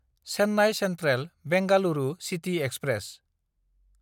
Chennai सेन्ट्रेल–बेंगलुरु city express